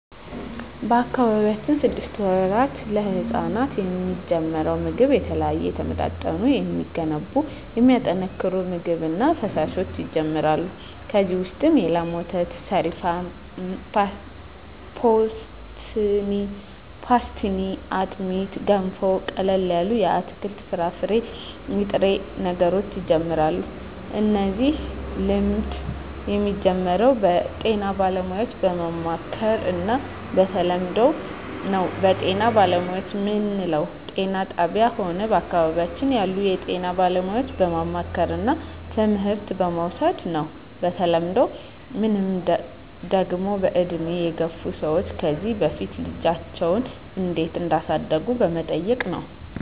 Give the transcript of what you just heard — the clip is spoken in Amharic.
በአካባቢያችን ስድስት ወራት ለህጻናት የሚጀምረው ምግብ የተለያዩ የተመጣጠኑ የሚገነቡ የሚያጠናክሩ ምግብ እና ፈሣሾች ይጀመራሉ ከዚ ውሰጥ የላም ወተት ሰሪፋን ፓሥትኒ አጥሜት ገንፎ ቀለል ያሉ የአትክልት የፍራፍሬ የጥሬ ነገሮች ይጀምራሉ እነዚህ ልምድ የሚጀምረው ጤና ባለሙያዎች በማማከር እና በተለምዶው ነው በጤና ባለሙያዎች ምንለው ጤና ጣብያ ሆነ በአካባቢያችን ያሉ የጤና ባለሙያዎች በማማከርና ትምህርት በመዉሰድ ነው በተለምዶ ምንለው ደግሞ በእድሜ የገፍ ሰዎች ከዚ በፊት ልጃቸው እንዴት እዳሳደጉ በመጠየቅ ነው